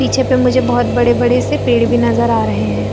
पीछे पे मुझे बहोत बड़े-बड़े से पेड़ भी नजर आ रहे है।